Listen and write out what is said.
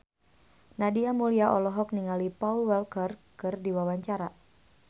Nadia Mulya olohok ningali Paul Walker keur diwawancara